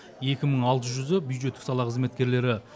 екі мың алты жүзі бюджеттік сала қызметкерлері